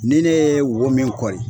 Ni ne ye wo min kɔri